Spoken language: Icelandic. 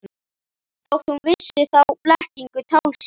Þótt hún vissi þá blekkingu, tálsýn.